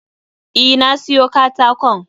E, na siyo katakon